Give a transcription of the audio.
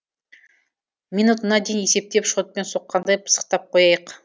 минутына дейін есептеп шотпен соққандай пысықтап қояйық